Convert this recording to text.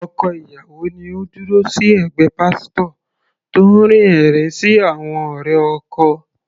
Ọkọ ìyàwó ni Ó dúró sí ẹ̀gbẹ́ pásítò tó ń rín ẹ̀rín sí àwọn ọ̀rẹ́ ọkọ.